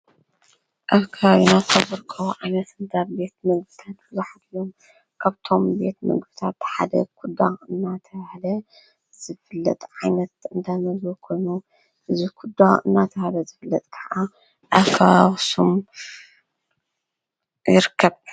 ኣፍካ ይኖ ተብርክ ዓይነት እንታብ ቤት ምግብታት ብዙኅሪሎም ኣብቶም ቤት ምግብታ ብሓደ ኲዳ እናተሃለ ዘፍለጥ ዓይነት እንተመዘ ኾኑ እዙ ዂዳ እናተሃለ ዘፍለጥ ኸዓ ኣፋሹም ይርከብ።